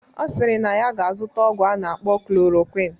Ọ sịrị na ya ga-azụta ọgwụ a na-akpọ klorokwin